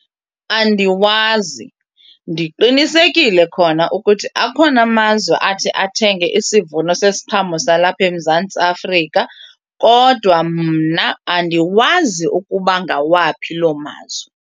Andiwazi, ndiqinisekile khona ukuthi akhona amazwe athi athenge isivuno sesiqhamo salapha eMzantsi Afrika kodwa mna andiwazi ukuba ngawaphi loo mazwe.